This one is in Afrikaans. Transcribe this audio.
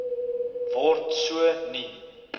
word so nie